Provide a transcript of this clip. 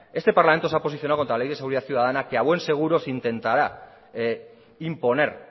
este parlamento se ha posicionado contra la ley de seguridad ciudadana que a buen seguro se intentará imponer